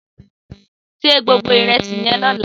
Sé gbógbó irèsí yèn lòlá